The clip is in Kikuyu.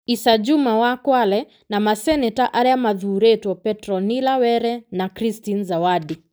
Issa Juma wa Kwale na maseneta arĩa mathuurĩtwo Petronilla Were na Christine Zawadi.